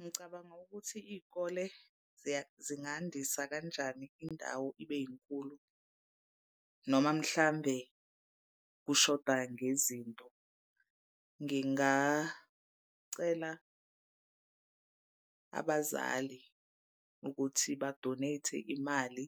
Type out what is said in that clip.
Ngicabanga ukuthi iy'kole zingandisa kanjani indawo ibe inkulu noma mhlambe kushoda ngezinto. Ngingacela abazali ukuthi ba-donate-e imali